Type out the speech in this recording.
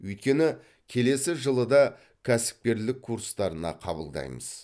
өйткені келесі жылы да кәсіпкерлік курстарына қабылдаймыз